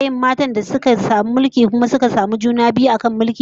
An taba samun matan da suka yi mulki kuma suka samu juna biyu a kan mulkin?